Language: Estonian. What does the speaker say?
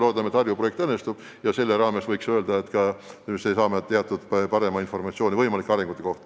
Loodame, et Harju projekt õnnestub ja me saame paremat informatsiooni võimalike arengute kohta.